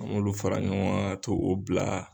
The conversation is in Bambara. An b'olu fara ɲɔgɔn kan ka t'o o bila.